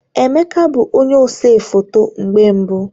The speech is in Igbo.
Emeka bụ onye ose foto mgbe mbu